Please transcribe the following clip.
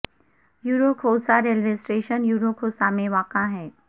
یرو Khosa railway station Yaru Khosa میں واقع ہے